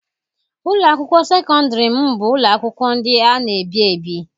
Ụlọ akwụkwọ sekọndrị m bụ ụlọ akwụkwọ ndị a na-ebi ebi.